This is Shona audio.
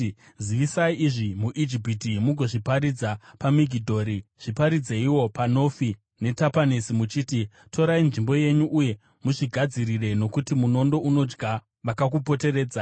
“Zivisai izvi muIjipiti, mugozviparidza paMigidhori; zviparidzeiwo paNofi neTapanesi muchiti: ‘Torai nzvimbo yenyu uye muzvigadzirire, nokuti munondo unodya vakakupoteredzai.’